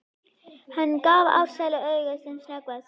Hann gaf Ársæli auga sem snöggvast.